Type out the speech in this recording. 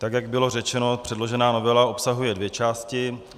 Tak jak bylo řečeno, předložená novela obsahuje dvě části.